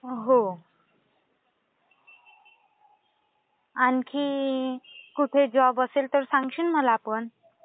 हो. आणखी कुठे जॉब असेल तर सांगशील मला पण?